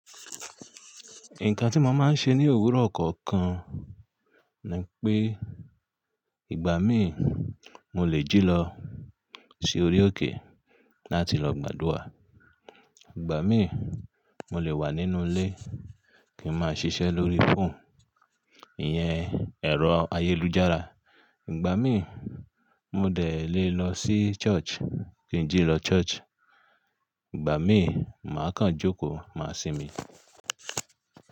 Nǹkan tí mo máa ń ṣe ní òwúrọ̀ kọ̀ọ̀kan ni pé ìgbà míì mo lè jí lọ sí orí òkè láti lọ gbàdúà, ìgbà míì mo lè wà nínú ilé kí n máa ṣiṣẹ́ lórí fóònù iyen ẹ̀rọ ayélujára, ìgbà míì mo de lè lọ sí ṣọ́ọ̀ṣì kí n jí lọ ṣọ́ọ̀ṣì, ìgbà míì màá kan jókòó máa sinmi.